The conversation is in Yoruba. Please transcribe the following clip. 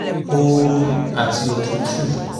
ooru àti òtútù